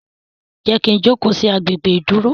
Jé kí ń jókó sí àgbè gbé iduro?